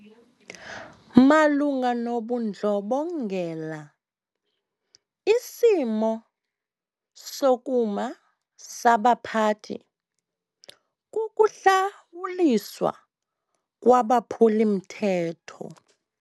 Malunga nobundlobongela isimo sokuma sabaphathi kukuhlawuliswa kwabaphuli-mthetho.